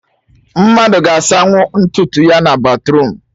Mmadụ ga-asanwu ntutu ya na batruum